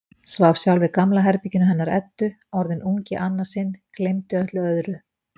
Svaf sjálf í gamla herberginu hennar Eddu, orðin ung í annað sinn, gleymdi öllu öðru.